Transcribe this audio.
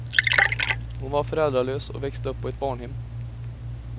Hon var föräldralös och växte upp på ett barnhem.